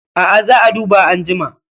A'a, za a duba anjima